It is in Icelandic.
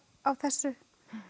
á þessu